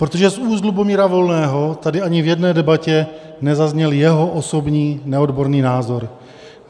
Protože z úst Lubomíra Volného tady ani v jedné debatě nezazněl jeho osobní neodborný názor.